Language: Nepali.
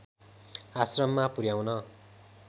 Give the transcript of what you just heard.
आश्रममा पुर्‍याउन